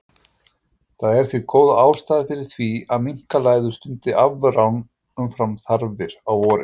Það er því góð ástæða fyrir því að minkalæður stundi afrán umfram þarfir á vorin.